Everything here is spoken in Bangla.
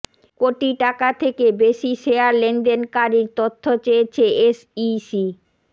কোটি টাকা থেকে বেশি শেয়ার লেনদেনকারীর তথ্য চেয়েছে এসইসি